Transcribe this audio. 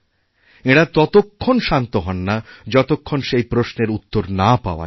এঁরা ততক্ষণ শান্ত হন না যতক্ষণ সেইপ্রশ্নের উত্তর না পাওয়া যায়